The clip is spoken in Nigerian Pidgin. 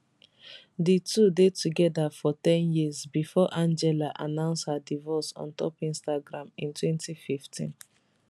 di two dey togada for ten years bifor angela announce her divorce ontop instagram in 2015